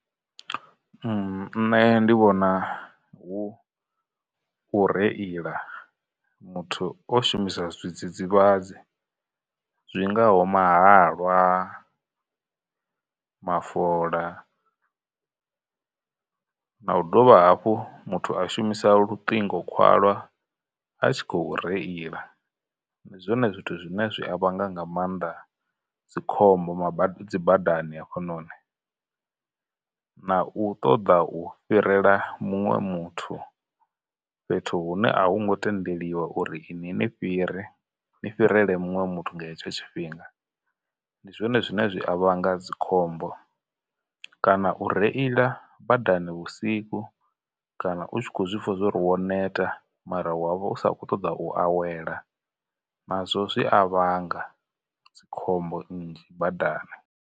Mmm, nṋe ndi vhona hu u reila muthu o shumisa zwidzidzivhadzi, zwingaho mahalwa, mafola, na u dovha hafhu muthu a shumisa luṱingo khwalwa a tshi khou reila, ndi zwone zwithu zwine zwi a vhanga nga maanḓa dzikhombo dzibadani hafhanoni, na u ṱoḓa u fhirela muṅwe muthu fhethu hune a hu ngo tendeliwa uri ini ni fhire ni fhirele muṅwe muthu nga hetsho tshifhinga. Ndi zwone zwine zwi a vhanga dzikhombo, kana u reila badani vhusiku, kana u tshi khou zwipfha zwa uri wo neta mara wa vha u sa khou ṱoḓa u awela, nazwo zwi a vhanga dzikhombo nnzhi badani.